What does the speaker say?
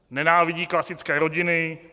Nenávidí klasické rodiny.